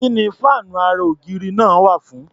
Kí ni fáànú ara-ògiri náà wà fún?